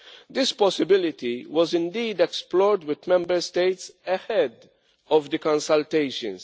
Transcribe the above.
This possibility was indeed explored with Member States ahead of the consultations.